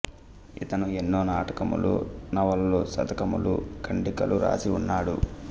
ఇతడు ఎన్నో నాటకములు నవలలు శతకములు ఖండికలు వ్రాసి ఉన్నాడు